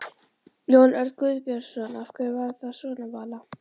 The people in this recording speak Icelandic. Jón Örn Guðbjartsson: Af hverju er það svona Vala?